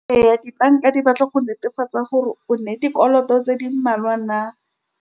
Ee, dibanka di batla go netefatsa gore o nnete dikoloto tse di mmalwa na.